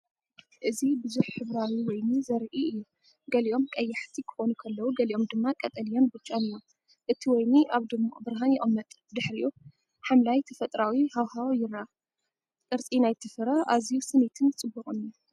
እዚ ብዙሕ ሕብራዊ ወይኒ ዘርኢ እዩ። ገሊኦም ቀያሕቲ ክኾኑ ከለዉ፡ ገሊኦም ድማ ቀጠልያን ብጫን እዮም። እቲ ወይኒ ኣብ ድሙቕ ብርሃን ይቕመጥ፣ ድሕሪኡ ሓምላይ ተፈጥሮኣዊ ሃዋህው ይርአ። ቅርጺ ናይቲ ፍረ ኣዝዩ ስኒትን ጽቡቕን እዩ።